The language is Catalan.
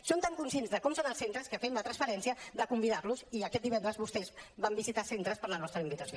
som tan conscients de com són els centres que fem la transparència de convidar los i aquest divendres vostès van visitar centres per la nostra invitació